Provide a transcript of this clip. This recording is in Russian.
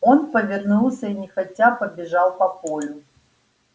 он повернулся и нехотя побежал по полю